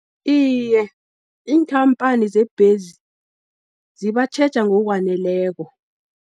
Iye, iinkhampani zembhezi zibatjheja ngokwaneleko.